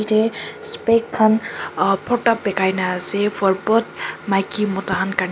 eteh spec khan ahh bhorta bekai na ase for both maiki mota khan karney.